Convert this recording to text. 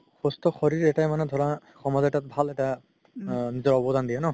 সুস্থ শৰিৰ এটাই মানে ধৰা সমাজ এটাত ভাল এটা আ অবদান দিয়ে ন